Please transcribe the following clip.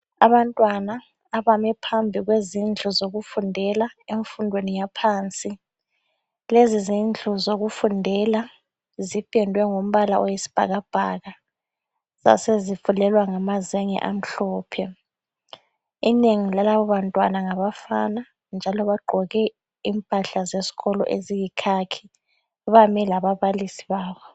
Abantwana abame phambi kwezindlu zokufundela emfundweni yaphansi lezi zindlu zokufundela ziphendwe ngombala oyisibhakabhaka zasezifulelwa ngamazenge amhlophe. Inengi lalaba bantwana ngabafana njalo bagqoke impahla zesikolo eziyikhakhi bami lalabalisi babo.